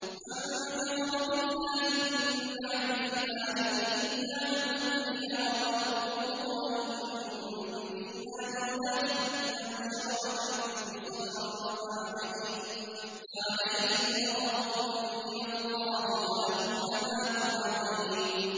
مَن كَفَرَ بِاللَّهِ مِن بَعْدِ إِيمَانِهِ إِلَّا مَنْ أُكْرِهَ وَقَلْبُهُ مُطْمَئِنٌّ بِالْإِيمَانِ وَلَٰكِن مَّن شَرَحَ بِالْكُفْرِ صَدْرًا فَعَلَيْهِمْ غَضَبٌ مِّنَ اللَّهِ وَلَهُمْ عَذَابٌ عَظِيمٌ